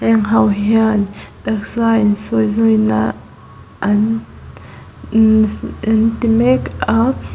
heng ho hian taksa insawizawina an inns an ti mek a.